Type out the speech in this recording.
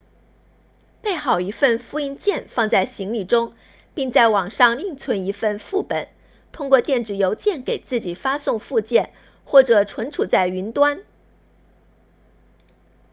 备好一份复印件放在行李中并在网上另存一份副本通过电子邮件给自己发送附件或者存储在云端